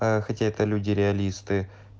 а хотя это люди реалисты